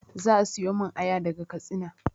Za a siyomin aya daga katsina